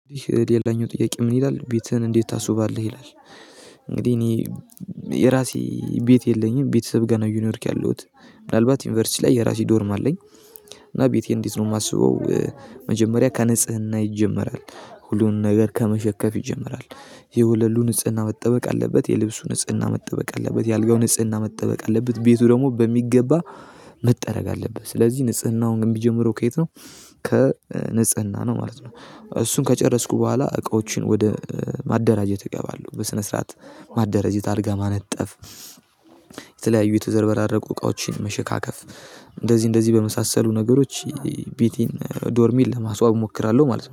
ይህ የሌላኛው ጥያቄ ምን ይላል ቤትህን እንዴት ታስውባለህ ይላል? እንግዲህ እኔ የራሴ ቤት የለኝም ቤተሰብ ጋር ነው እየኖርኩ ያለሁት። ምናልባት ዩኒቨርሲቲ ላይ የራሴ ዶርም አለኝ። እና ቤቴ እንዴት ነው የማስበው? መጀመሪያ ከንጽህና ይጀመራል ሁሉን ነገር ከመሸከፍ ይጀመራል። የወለሉ ንጽህና መጠበቅ አለበት የልብሱ ንጽህና መጠበቅ አለበት የአልጋው ንጽህና መጠበቅ አለበት። ቤቱ ደግሞ በሚገባ መጠረግ አለበት። ስለዚህ ንጽህናውን የሚጀምረው ከየት ነው? ከንጽህና ነው ማለት ነው። እሱን ከጨረስኩ በኋላ እቃዎችን ወደ ማደራጀት እገባለሁ። በስነ ስርዓት ማደራጀት አልጋ ማነጠፍ። የተለያዩ የተዘረበረቁ እቃዎችን መሸካከፍ። እንደዚህ እንደዚህ በመሳሰሉ ነገሮች ቤቴን ዶርሚን ለማስዋብ እሞክራለሁ ማለት ነው